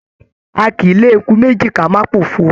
A kìí lè eku méjì ká má p'ofo.